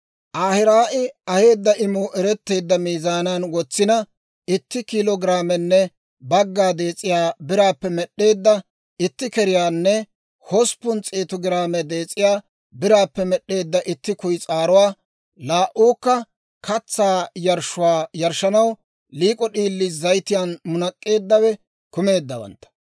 Ahiraa'i aheedda imuu eretteedda miizaanan wotsina, itti kiilo giraamenne bagga dees'iyaa biraappe med'd'eedda itti keriyaanne hosppun s'eetu giraame dees'iyaa biraappe med'd'eedda itti kuyis'aaruwaa, laa"uukka katsaa yarshshuwaa yarshshanaw liik'o d'iilii, zayitiyaan munak'k'eeddawe kumeeddawantta,